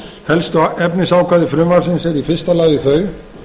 helstu efnisákvæði frumvarpsins eru í fyrsta lagi þau